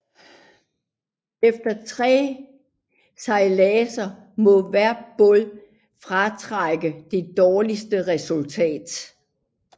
Efter tre sejladser må hver båd fratrække det dårligste resultat